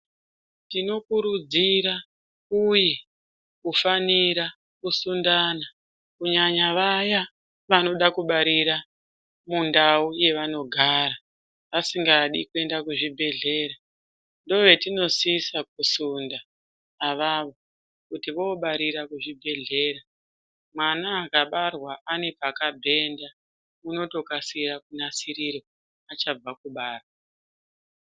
Tinokurudzira uye kufanira kusundana kunyanya vaya vanoda kubarira mundau yavanogara vasingadi kuenda kuzvibhedhleya ndovetinosisa kusunda avavo kuti vobarira kuzvibhedhlera . Mwana akabarwa pane pakabhenda unotokasira kunasirirwa achabva kubarwa.